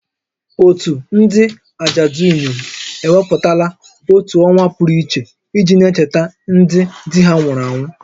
Òtù ndị ajadu inyom ewepụtala otu ọnwa pụrụ iche iji na-echeta ndị di ha nwụrụ anwụ